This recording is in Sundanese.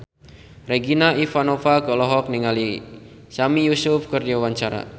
Regina Ivanova olohok ningali Sami Yusuf keur diwawancara